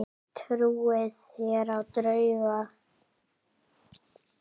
Trúið þér á drauga?